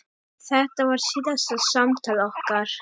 Þetta var síðasta samtal okkar.